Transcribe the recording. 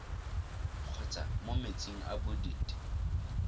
kgotsa mo metsing a bodit